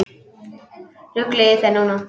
Ruglið í þér núna!